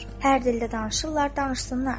Hər dildə danışırlar, danışsınlar.